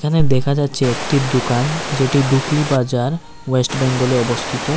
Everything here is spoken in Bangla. এখানে দেখা যাচ্ছে একটি দুকান যেটি ডুকলি বাজার ওয়েস্ট বেঙ্গল এ অবস্থিত।